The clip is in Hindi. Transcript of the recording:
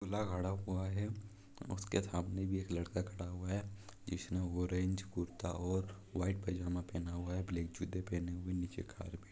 पुतला गड़ा हुआ है उसके सामने भी एक लड़का खड़ा हुआ है जिसने ऑरेंज कुरता और व्हाइट पैजामा पहना हुआ है ब्लैक जूते पहने हुए नीचे कार्पेट --